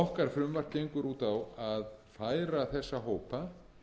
okkar frumvarp gengur út á að færa þessa hópa